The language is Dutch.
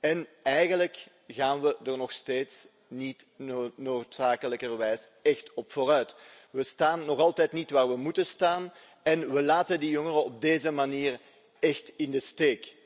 en eigenlijk gaan we daar nog steeds niet noodzakelijkerwijs echt op vooruit. We staan nog altijd niet waar we moeten staan en we laten die jongeren op deze manier echt in de steek.